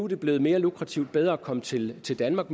det blevet mere lukrativt og bedre at komme til til danmark